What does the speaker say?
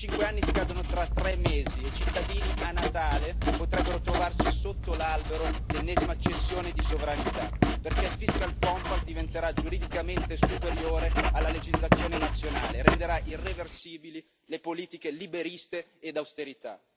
Quei 5 anni scadono tra 3 mesi e i cittadini, a Natale, potrebbero trovarsi sotto l'albero l'ennesima cessione di sovranità, perché il fiscal compact diventerà giuridicamente superiore alla legislazione nazionale e renderà irreversibili le politiche liberiste ed austerità.